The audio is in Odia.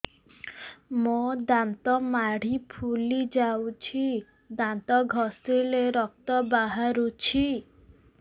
ମୋ ଦାନ୍ତ ମାଢି ଫୁଲି ଯାଉଛି ଦାନ୍ତ ଘଷିଲେ ରକ୍ତ ବାହାରୁଛି